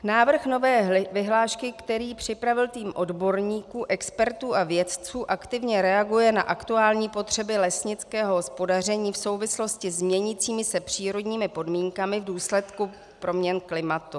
Návrh nové vyhlášky, který připravil tým odborníků, expertů a vědců, aktivně reaguje na aktuální potřeby lesnického hospodaření v souvislosti s měnícími se přírodními podmínkami v důsledku proměn klimatu.